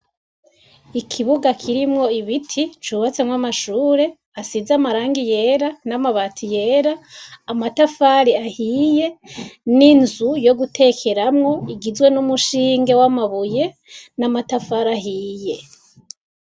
Ikibuga kirimwo ibiti cubatsemwo amashure asize amarangi yera n'amabati yera amatafari ahiye n'inzu yo gutekeramwo igizwe n'umushinge w'amabuye n'amatafari ahiye.